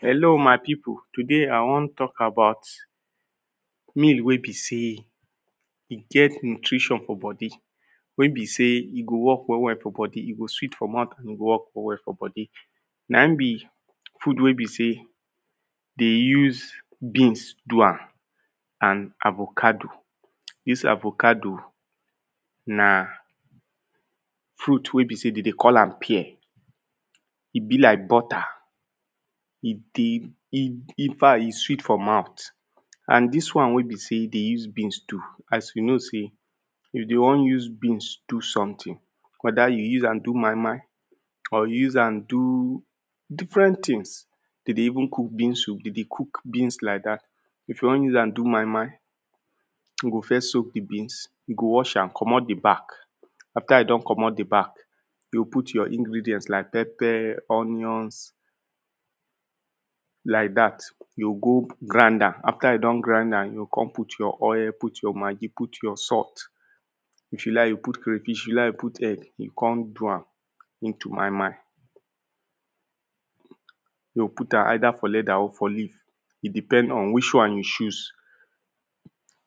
Hello my people, today i wan talk about meal wey be sey e get nutrition for body. Wey be say e go work well well for body. E go sweet for mouth and e go work well well for body. Na im be ood wey be sey they use beans do am and avocado. Dis avocado na ruit wey be sey dem they call am pear. E be like butter. E dey e infact e sweet for mouth and dis one wey be sey they use beans do. If dem wan wan use beans do something whether you use am do moimoi or you use am do different thing. Dem dey even cook beans soup. Dem dey cook beans like dat. If you wan use am do moimoi you go first soak the beans. You go wash am comot the back. After you don comot the back. You go put your ingredient like pepper, onionss like dat. You go go grind am. After you don grind and you go come put your oil. Put your maggi, put your salt. If you like put crayfish. If you like put egg. You con do am into moimoi. You go put am either for leather or for leaf. E depend on which one you choose.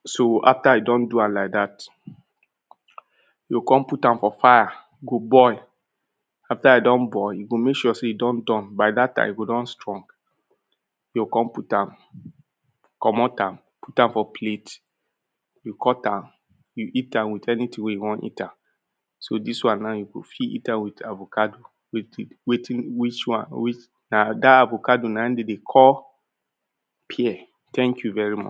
So after you don do am like dat, you go come put am for fire. E go boil. After e don boil. You go make sure sey e don done. By dat time, e go don strong. You go come put am, comot am, put am for plate. You cut am, You cut am, you eat am with anything wey you wan eat am. So dis one now, you go fit eat am with avocado wey you keep. Wetin which one wey na dat avocado na im dem dey call pear. Thank you very much.